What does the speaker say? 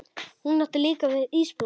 Hún átti líka alltaf ísblóm.